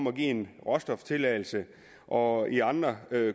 at give en råstoftilladelse og i andre